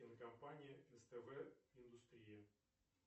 кинокомпания ств индустрия